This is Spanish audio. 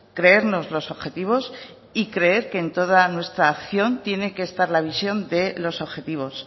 creernos los objetivos y creer que en toda nuestra acción tiene que estar la visión de los objetivos